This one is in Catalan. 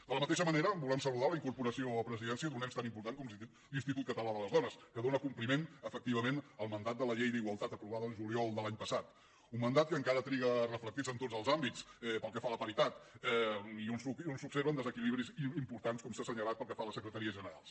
de la mateixa manera volem saludar la incorporació a presidència d’un ens tan important com l’institut català de les dones que dóna compliment efectivament al mandat de la llei d’igualtat aprovada el juliol de l’any passat un mandat que encara triga a reflectir se en tots els àmbits pel que fa a la paritat i on s’observen desequilibris importants com s’ha assenyalat pel que fa a les secretaries generals